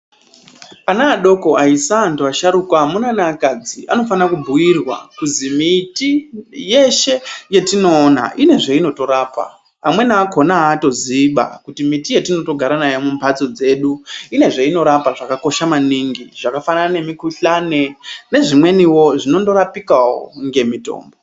Ana adoko, aisa, antu asharuka, amuna neakadzi anofanirwa kubhuirwa kuzi miti yeshe yetinoona ine zvainotorapa. Amweni akhona aatoziiba kuti miti yetinotogara nayo mumhatso dzedu ine zveinorapa zvakakosha maningi. Zvakafanana nemikhuhlani nezvimweniwo zvinondorapika wo ngemitombo.